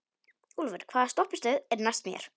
Úlfur, hvaða stoppistöð er næst mér?